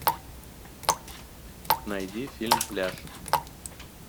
найди фильм пляж